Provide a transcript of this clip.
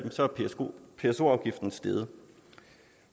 er pso afgiften steget